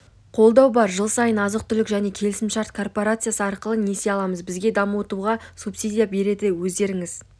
қолдау бар жыл сайын азық-түлік және келісімшарт корпорациясы арқылы несие аламыз бізге дамытуға субсидия береді өздеріңіз